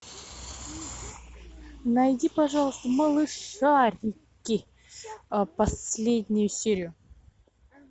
найди пожалуйста малышарики последнюю серию